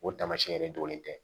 O taamasiyɛn de dogolen tɛ